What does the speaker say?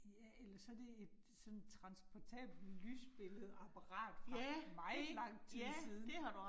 Ja, eller så det et sådan transportapelt lysbilledeapparat fra meget lang tid siden